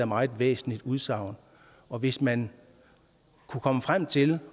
meget væsentligt udsagn og hvis man kunne komme frem til